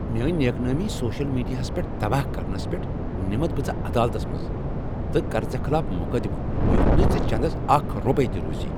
میٲنۍ نیک نامی سوشل میٖڈیاہس پیٹھ تباہ کرنس پیٚٹھ نمتھ بہٕ ژٕ عدالتس منٛز تہٕ کرٕ ژےٚ خلاف مقدمہ یتھ نہٕ ژےٚ چندس اکھ رۄپے تہ روزی۔